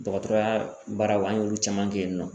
Dɔgɔtɔrɔya baaraw an y'olu caman kɛ yen nɔ